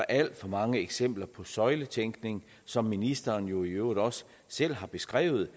alt for mange eksempler på søjletænkning som ministeren jo i øvrigt også selv har beskrevet